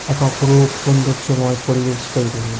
এক অপরূপ সৌন্দর্যময় পরিবেশ তৈরি হয়ে--